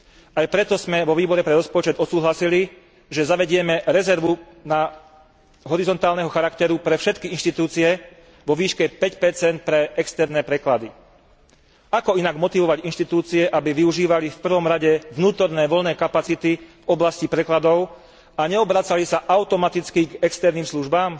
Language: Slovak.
Aj preto sme vo Výbore pre rozpočet odsúhlasili, že zavedieme rezervu horizontálneho charakteru pre všetky inštitúcie vo výške 5 pre externé preklady. Ako inak motivovať inštitúcie, aby využívali v prvom rade vnútorné voľné kapacity v oblasti prekladov a neobracali sa automaticky k externým službám?